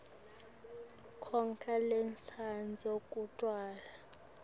wakho losandza kutalwa